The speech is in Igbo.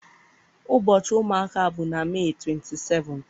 Ụbọchị ụmụaka bụ na Mee 27th.